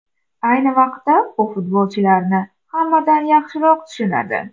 Ayni vaqtda u futbolchilarni hammadan yaxshiroq tushunadi.